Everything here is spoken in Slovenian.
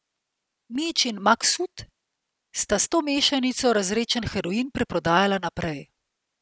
Mijić in Maksut sta s to mešanico razredčen heroin preprodajala naprej.